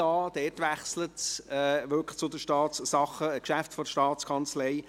ab dort wechselt es zu den Geschäften der STA.